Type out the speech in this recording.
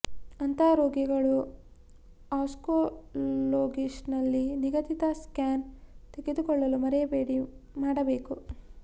ಅಂತಹ ರೋಗಿಗಳು ಆನ್ಕೊಲೊಗಿಸ್ಟ್ ನಲ್ಲಿ ನಿಗದಿತ ಸ್ಕ್ಯಾನ್ ತೆಗೆದುಕೊಳ್ಳಲು ಮರೆಯಬೇಡಿ ಮಾಡಬೇಕು